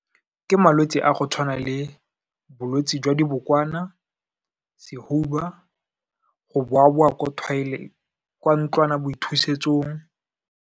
Ke malwetse a go tshwana le bolwetse jwa dibokwana, sehuba, go boa-boa kwa ntlwanaboithusetsong.